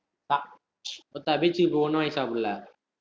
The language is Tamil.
beach க்கு போய் ஒண்ணும் வாங்கி சாப்பிடல